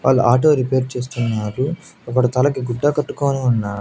వాళ్ళు auto repair చేస్తున్నారు ఒకడు తలకి గుడ్డ కట్టుకొని ఉన్నా--